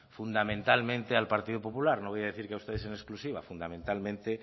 fundamentalmente al partido popular no voy a decir que a ustedes en exclusiva fundamentalmente